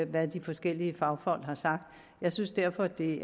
hvad de forskellige fagfolk har sagt jeg synes derfor det